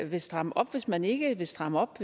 vil stramme op hvis man ikke vil stramme op